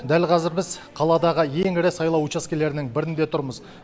дәл қазір біз қаладағы ең ірі сайлау учаскелерінің бірінде тұрмыз